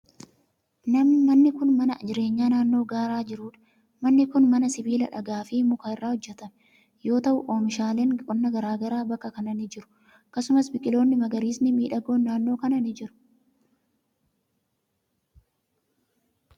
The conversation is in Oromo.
Manni kun, mana jireenyaa naannoo gaaraa jiruu dha. Manni kun, mana sibiila, dhagaa, fi muka irraa hojjatame yoo ta'u, oomishaaleen qonnaa garaa garaa bakka kana ni jiru. Akkasumas, biqiloonni magariisni miidhagoon naannoo kana ni jiru,